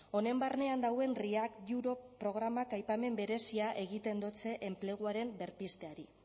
honen barnean dagoen react europe programak aipamen berezia egiten dotze enpleguaren berpizteari